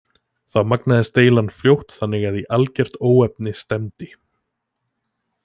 Þá magnaðist deilan fljótt þannig að í algert óefni stefndi.